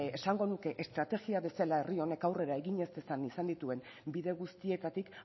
esango nuke estrategia bezala herri honek aurrera egin ez dezan izan dituen bide guztietatik